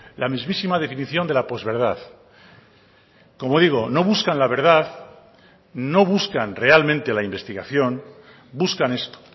la mismísima definición de la posverdad como digo no buscan la verdad no buscan realmente la investigación buscan esto